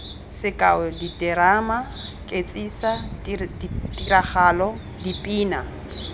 sekao diterama ketsisa tiragalo dipina